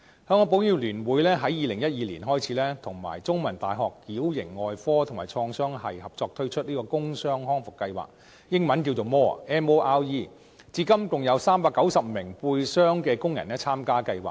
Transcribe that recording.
香港保險業聯會在2012年開始聯同香港中文大學矯形外科及創傷學系合作推出工傷康復計劃，英文簡稱 "MORE"， 至今共有390名背傷的工人參加計劃。